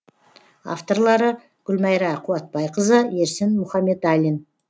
авторлары гүлмайра қуатбайқызы ерсін мұхаметалин